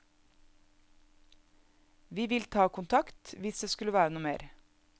Vi vil ta kontakt, hvis det skulle være noe mer.